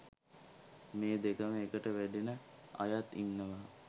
මේ දෙකම එකට වැඩෙන අයත් ඉන්නවා.